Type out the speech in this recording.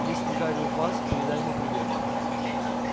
если гарри у вас передай ему привет